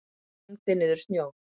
Kyngdi niður snjó.